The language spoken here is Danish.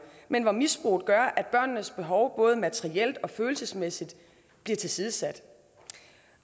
men hvor misbruget gør at børnenes behov både materielt og følelsesmæssigt bliver tilsidesat